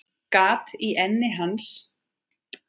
Gat í enni hans.